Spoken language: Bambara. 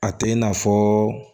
A tɛ i nafɔ